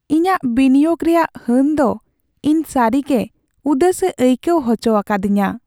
ᱤᱧᱟᱹᱜ ᱵᱤᱱᱤᱭᱳᱜ ᱨᱮᱭᱟᱜ ᱦᱟᱹᱱ ᱫᱚ ᱤᱧ ᱥᱟᱹᱨᱤᱜᱮ ᱩᱫᱟᱹᱥᱮ ᱟᱹᱭᱠᱟᱹᱣ ᱦᱚᱪᱚ ᱟᱠᱟᱫᱤᱧᱟᱹ ᱾